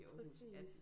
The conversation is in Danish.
Præcis